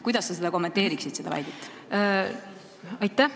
Kuidas sa seda väidet kommenteerid?